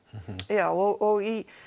já og í